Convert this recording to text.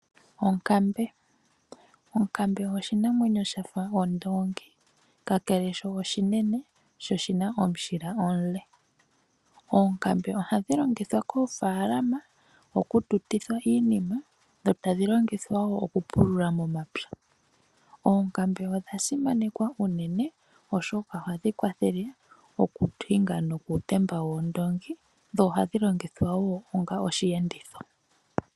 Onkambe. Onkambe oyo oshinamwenyo sha fa ondoongi. Kakele sho oshinene, sho oshi na omushila omule. Oonkambe ohadhi longithwa koofaalama, okututithwa iinima, dho tadhi longithwa wo okupulula momapya. Oonkambe odha simanekwa unene, oshoka ohadhi kwathele okuhinga nokuutemba woondoongi, dho ohadhi longithwa wo onga osheenditho.